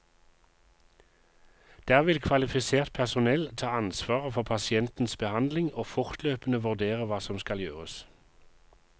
Der vil kvalifisert personell ta ansvaret for pasientens behandling og fortløpende vurdere hva som skal gjøres.